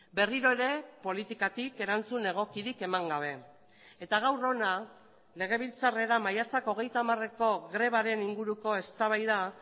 berriro ere politikatik erantzun egokirik eman gabe eta gaur hona legebiltzarrera maiatzak hogeita hamareko grebaren inguruko eztabaida